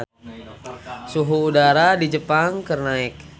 Suhu udara di Jepang keur naek